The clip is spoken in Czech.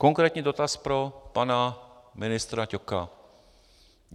Konkrétní dotaz pro pana ministra Ťoka.